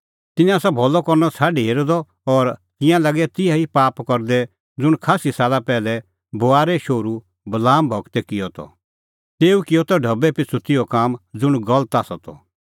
तिन्नैं आसा भलअ करनअ छ़ाडी हेरअ द और तिंयां लागै तिहै ई पाप करदै ज़ुंण खास्सी साला पैहलै बोआरे शोहरू बलाम गूरै किअ त तेऊ किअ त ढबै पिछ़ू तिहअ काम ज़ुंण गलत आसा त